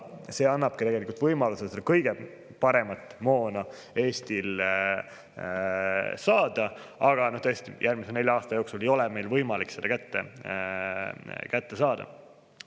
See annabki Eestile võimaluse kõige paremat moona saada, aga tõesti, järgmise nelja aasta jooksul ei ole meil võimalik seda kätte saada.